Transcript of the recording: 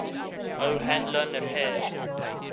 o hanlon appears